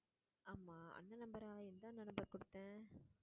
ஆமா அந்த number ஆ எந்த அண்ணன் குடுத்தேன்